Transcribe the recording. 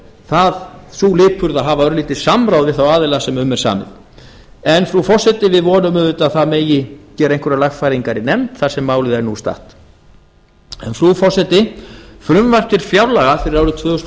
sýnd sú lipurð að hafa örlítið samráð við þá aðila sem um er samið en frú forseti við vonum auðvitað að það megi gera einhverjar lagfæringar í nefnd þar sem málið er nú statt frú forseti frumvarp til fjárlaga fyrir árið tvö þúsund og